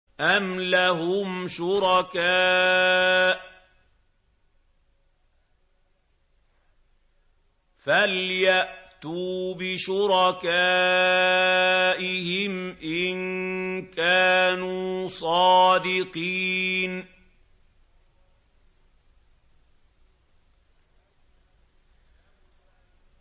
أَمْ لَهُمْ شُرَكَاءُ فَلْيَأْتُوا بِشُرَكَائِهِمْ إِن كَانُوا صَادِقِينَ